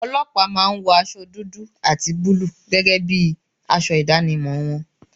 Ọlọ́pàá máa ń wọ aṣọ dúdú àti búlúù gẹ́gẹ́ bí aṣọ ìdámọ̀ wọn